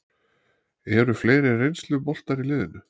Eru fleiri reynsluboltar í liðinu?